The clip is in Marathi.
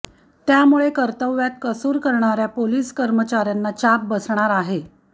त्यामुळे कर्तव्यात कसूर करणाऱ्या पोलीस कर्मचाऱ्यांना चाप बसणार आहे